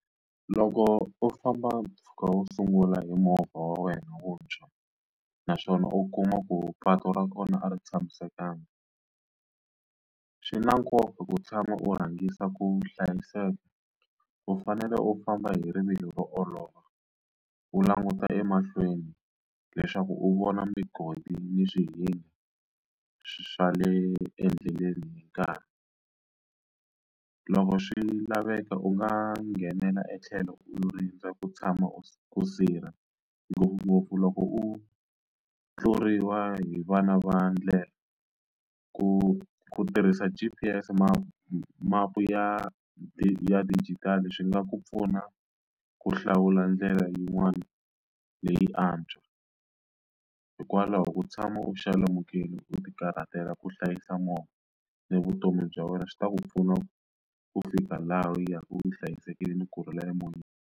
Loko u famba mpfhuka wo sungula hi movha wa wena wuntshwa naswona u kuma ku patu ra kona a ri tshamisekanga swi na nkoka ku tshama u rhangisa ku hlayiseka u fanele u famba hi rivilo ro olova u languta emahlweni leswaku u vona migodi ni swihinga swa le endleleni hi nkarhi loko swi laveka u nga nghenela etlhelo u rindza ku tshama u ku sirha ngopfungopfu loko u tluriwa hi vana va ndlela ku ku tirhisa G_P_S ma mapu ya d ya digital swi nga ku pfuna ku hlawula ndlela yin'wana leyi antswa hikwalaho ku tshama u xalamukile u ti karhatela ku hlayisa movha ni vutomi bya wena swi ta ku pfuna ku fika laha u ya u yi hlayisekile ni kurhula emoyeni.